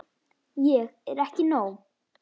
Ég er ekki nóg.